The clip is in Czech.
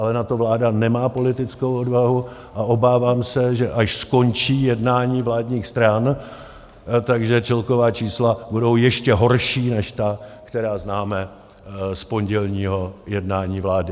Ale na to vláda nemá politickou odvahu, a obávám se, že až skončí jednání vládních stran, tak celková čísla budou ještě horší než ta, která známe z pondělního jednání vlády.